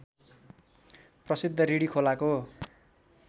प्रसिद्ध रिडी खोलाको